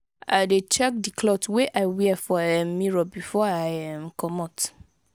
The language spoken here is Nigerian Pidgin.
i dey check di cloth wey i wear for um mirror before i um comot.